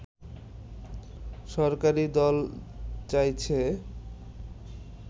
সরকারী দল চাইছে